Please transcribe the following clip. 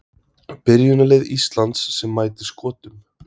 Byrjunarlið Íslands sem mætir Skotum